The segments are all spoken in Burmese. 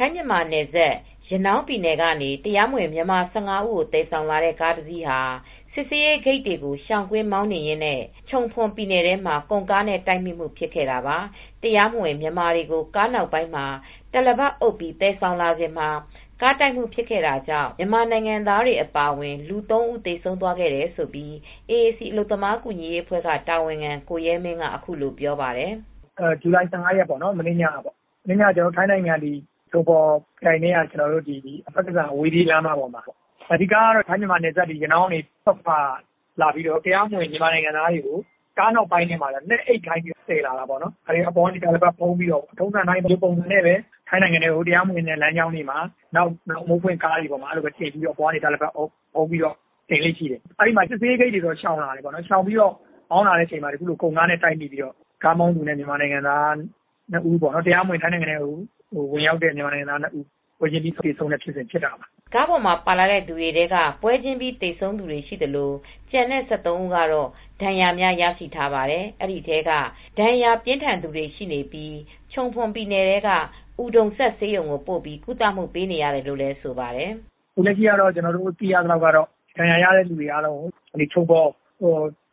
ိုင်းမြန်မာနယ်စပ် ရနောင်းပြည်နယ်ကနေ တရားမဝင် မြန်မာ၁၅ဦးကို သယ်ဆောင်လာတဲ့ ကားတစီးဟာ စစ်ဆေးရေးဂိတ်တွေကို ရှောင်ကွင်းမောင်နှင်ရင်းနဲ့ chumphon ပြည်နယ်ထဲမှာ ကုန်ကားနဲ့ တိုက်မိမူဖြစ်ခဲ့တာပါ။ တရားမဝင် မြန်မာတွေကို ကားနောက်ပိုင်မှာ တာလပတ်အုပ်ပြီး သယ်ဆောင်လာစဉ်မှာ ကားတိုက်မူ့ ဖြစ်ခဲ့တာကြောင့် မြန်မာနိုင်ငံသားတွေ အပါအဝင် လူ၃ဦးသေဆုံးသွားခဲ့တယ်လို့ AAC အလုပ်သမားကူညီရေးအဖွဲက တာဝန်ခံ ကိုရဲမင်း ကအခုလိုပြောပါတယ် ။ "ဇူလိုင်၁၅ ရက်ပေါ့နော် ၊ မနေ့ညက ထိုင်းနိုင်ငံ chumphon ခရိုင်ထဲက ဖတ်ကစန် အဝေးပြေးလမ်းမပေါ်မှာပေါ့ ။ထိုင်း၊ မြန်မာနယ်စပ် ရနောင်းဘက်ကနေလာပြီး တရားမဝင် မြန်မာနိုင်ငံသားတွေကို ကားနောက်ပိုင်းမှာ လှဲအိပ်ခိုင်းပြီး သယ်လာတာပေါ့။ သူတိုကိုအပေါ်ကနေ တာလပတ်အုပ်ပြီး သယ်လာတာပေါ့။ ထုံစံအတိုင်း ဒီပုံစံနဲ့ပဲ တရားမဝင်လမ်းကြောင်းတွေမှာ အမိုးပွင့်ကားတွေနဲ့ တင်လေ့ရှိတယ် ။ စစ်ဆေးရေးဂိတ်တွေကို ရှောင်ကွင်းပြီး မောင်းလာတဲ့အချိန်မှာ ကုန်ကားနဲ့တိုက်ပြီး ကားမောင်းသူနဲ့ တရားမဝင်ဝင်ရောက်တဲ့ မြန်မာနိုင်ငံသားနှစ်ဦး ပွဲချင်းပြီးသေဆုံးတာပေါ့" ကားပေါ်မှာ ပါလာတဲ့သူတွေထဲက ပွဲချင်းပြီး သေဆုံးသူတွေရှိသလို ကျန်တဲ့သူ၁၃ဦးကတော့ ဒဏ်ရာများရရှိထားပါတယ်။ ဒီထဲက ဒဏ်ရာပြင်းထန်သူတွေလည်းရှိနေပြီး ချုံဖွန်ပြည်နယ်ထဲက Udomsak ဆေးရုံကိုပိုပြီးကုသပေးနေရတယ်လို့လည်းဆိုပါတယ်။ "လက်ရှိသိရသလောက်တော့ ဒဏ်ရာရသူတွေအားလုံးကို chumphon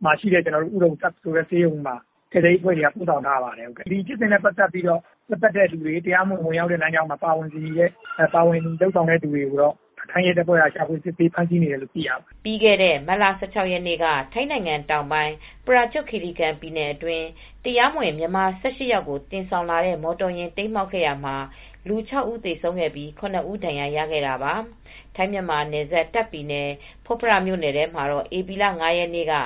မှာရှိတဲ့ udomsak hospitalဆိုတဲ့ ဆေးရုံကို ကယ်ဆယ်ရေးအဖွဲ့တွေက ပို့ဆောင်ထားပါတယ်။ ဒီလူကုန်ကူးမူဖြစ်စဉ်နဲ့ ပတ်သက်သူတွေ တရားမဝင် လူပို့ဆောင်တဲ့ လမ်းကြောင်းမှာ ပါဝင်ပတ်သက်နေသူတွေကိုတော့ ထိုင်းရဲတွေက ရှာဖွေစစ်ဆေး ဖမ်းဆီးနေတယ်လို့သိရပါတယ် " ပြီးခဲ့တဲ့ မတ်လ၁၆ရက်နေ့က ထိုင်းနိုင်ငံ တောင်ပိုင်း ပရာကျွတ်ခီရီခန် ပြည်နယ်အတွင်း တရားမဝင် မြန်မာ၁၈ယောက်ကို တင်ဆောင်လာတဲ့ မော်တော်ယာဉ် တိမ်းမှောက်ခဲ့ရာ ၆ဉီးသေဆုံးပြီး ၇ဦးဒဏ်ရာရခဲ့တာပါ.။ ထိုင်း မြန်မာနယ်စပ် တာ့ခ်ပြည်နယ် ဖွတ်ဖရမြိုနယ်ထဲမှာတော့ ဧပြီလ ၅ရက်နေ့က၊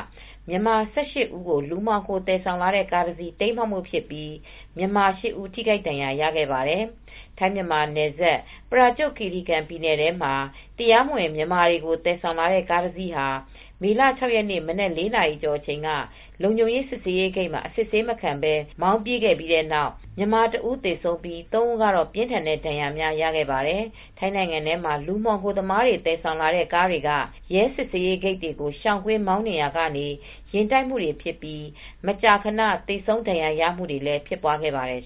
မြန်မာ ၁၈ ဦးကို လူမှောင်ခိုသယ်ဆောင်လာတဲ့ ကားတစီး တိမ်းမှောက်မူဖြစ်ပြီး မြန်မာ ၈ ဦးထိခိုက်ဒဏ်ရာရခဲ့ပါတယ်.။ ထိုင်းမြန်မာနယ်စပ် ပရာကျွတ်ခီရီကန်ပြည်နယ်ထဲမှာ တရားမဝင် မြန်မာတွေကို သယ်ဆောင်လာတဲ့ ကားတစီးဟာ မေလ၆ရက်နေ့ မနက် ၄နာရီကျော် အချိန်က လုံခြုံရေးစစ်ဆေးရေးဂိတ်မှာ အစစ်ဆေးမခံပဲ မောင်းပြေးပြီးတဲ့နောက် ပစ်ခတ်ခံရမူဖြစ်ပြီး မြန်မာ၁ဦးသေဆုံးပြီး ၃ဦးပြင်းထန်တဲ့ဒဏ်ရာများရရှိခဲ့ပါတယ်။ ထိုင်းနိုင်ငံထဲမှာ လူမှောင်ခိုသမားတွေ သယ်ဆောင်လာတဲ့ကားတွေက ရဲစစ်ဆေးရေးဂိတ်တွေကို ရှောင်ကွင်းမောင်းနှင်ရာကနေ ယာဉ်တိုက်မူတွေဖြစ်ပြီး မကြာခန သေဆုံးဒဏ်ရာရမူတွေလည်းဖြစ်ပွားခဲ့ပါတယ်